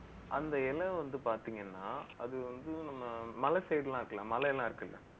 அந்த இலை வந்து பாத்தீங்கன்னா அது வந்து, நம்ம மலை side எல்லாம் இருக்குல்ல மலை எல்லாம் இருக்குல்ல